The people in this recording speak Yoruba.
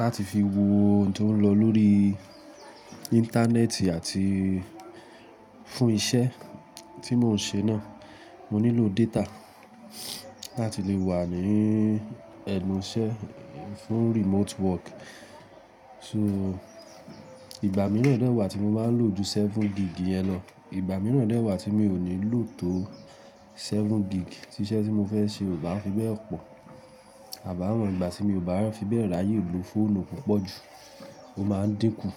láti fi wo ohun tó ń lọ lórí Íńtánẹ́ẹ̀tì àti fún iṣẹ́ tí mò ń ṣe náà. Mo nílò data láti lè wà ní ẹnu iṣẹ́ fún remote work. So ìgbà mìíràn dẹ́ wàá tí mo máa ń lò ju seven gig yẹn lọ, ìgbà mìíràn dẹ́ wàá tí mi ò ní lò tó seven gig tí iṣẹ́ tí mo fẹ́ ṣe ò bá fi bẹ́ẹ̀ pọ̀. Àbàá mọ ìgbà tí mi ò bá fi bẹ́ẹ̀ ráyè lò fóònù púpọ̀ jù, ó máa dínkù.